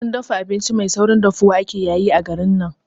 Wurin dafa abinci mai saurin dafuwa ake yayi a garin nan